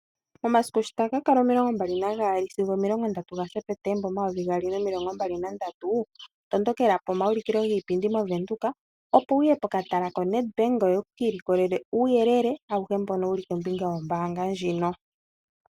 Omasiku shi taga kakala omilongo mbali nagaali sigo omilongo ndatu gaSeptemba omayovi gaali nomilongo mbali nandatu, tondokela pomaulikilo giipindi movenduka , opo wuye pokatala koNedbank ngoye wukiilikolele uuyelele, awuhe mbono wuli kombinga yombaanga ndjino.